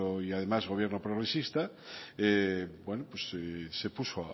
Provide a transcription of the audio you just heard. y además gobierno progresista bueno pues se puso